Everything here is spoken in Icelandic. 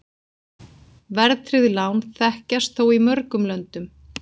Verðtryggð lán þekkjast þó í mörgum löndum.